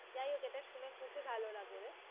যাই হোক এটা শুনে খুবিই ভালো লাগলো রে